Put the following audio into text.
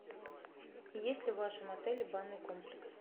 есть ли в вашем отеле банный комплекс